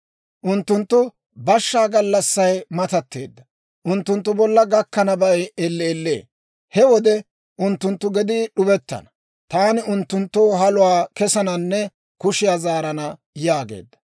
Unttunttu bashshaa gallassay matatteedda; unttunttu bolla gakkanabay elleellee. He wode unttunttu gedii d'ubettana. Taani unttunttoo haluwaa kessananne kushiyaa zaarana yaageedda.